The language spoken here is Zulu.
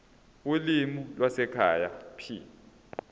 ulimi lwasekhaya p